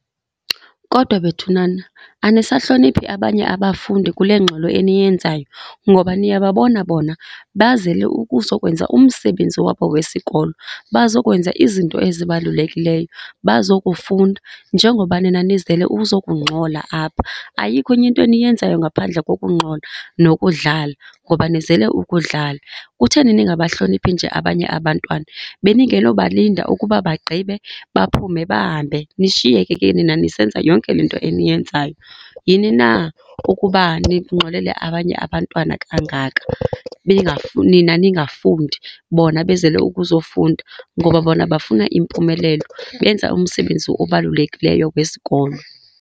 Kodwa bethunana anisahloniphi abanye abafundi kule ngxolo eniyenzayo? Ngoba niyababona bona bazele ukuzokwenza umsebenzi wabo wesikolo, bazokwenza izinto ezibalulekileyo, bazokufunda njengoba nina nizele ukuzokungxola apha. Ayikho enye into eniyenzayo ngaphandle kokungxola nokudlala ngoba nizele ukudlala. Kutheni ningabahloniphi nje abanye abantwana? Beningenobalinda ukuba bagqibe baphume bahambe nishiyeke ke nina nisenza yonke le nto eniyenzayo. Yini na ukuba ningxolele abanye abantwana kangaka, nina ningafundi bona bezele ukuzofunda? Ngoba bona bafuna impumelelo, benza umsebenzi obalulekileyo wesikolo.